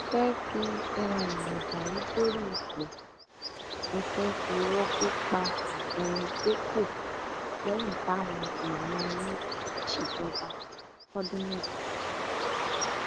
ẹ fẹ fi um mọdàrú dórí ipò ẹ fẹ fi irọ pípa um dépò lẹyìn táwọn èèyàn yín ti ṣèjọba fọdún mẹjọ